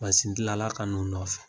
Mansindila ka n'u nɔfɛ.